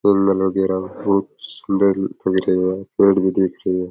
जंगल वगैरा बहुत सुन्दर दिखाई दे रहे है पेड़ भी दिख रहे है।